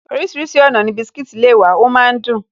Orísìírísìí ọ̀nà ni biscuits le wà, ọ máa ń dùn